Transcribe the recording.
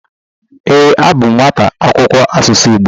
Ee, abụ m nwata akwụkwọ asụsụ Igbo.